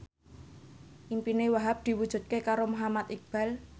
impine Wahhab diwujudke karo Muhammad Iqbal